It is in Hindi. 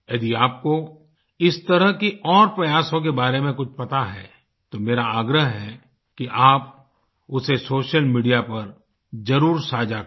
यदि आपको इस तरह के और प्रयासों के बारे में कुछ पता है तो मेरा आग्रह है कि आप उसे सोशल मीडिया पर जरुर साझा करें